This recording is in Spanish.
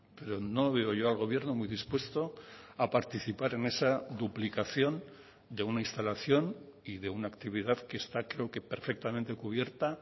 pero no veo yo al gobierno muy dispuesto a participar en esa duplicación de una instalación y de una actividad que está creo que perfectamente cubierta